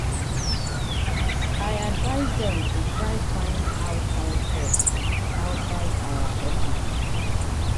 i advice dem to try find outside help outside our office.